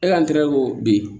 E ka ntɛri ko bi